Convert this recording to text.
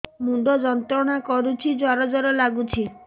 ମୁଣ୍ଡ ଯନ୍ତ୍ରଣା କରୁଛି ଜର ଜର ଲାଗୁଛି